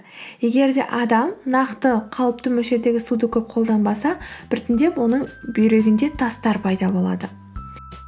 егер де адам нақты қалыпты мөлшердегі суды көп қолданбаса біртіндеп оның бүйрегінде тастар пайда болады